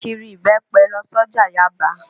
Kiri ibẹ́pẹ lọ s'ọ́jà Yábàá.